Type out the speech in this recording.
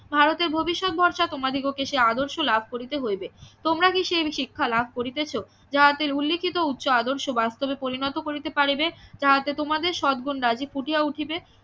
ভারতে ভবিষ্যৎ ভরসা তোমাদিগকে সে আদর্শ লাভ করিতে হইবে তোমরা কি সেই শিক্ষা লাভ করিতেছ যাহাতে উল্লেখিত উচ্চ আদর্শ বাস্তবে পরিণত করিতে পারিবে যাহা তে তোমাদের সদ্ গুন্ রাজীব ফুটিয়া উঠিবে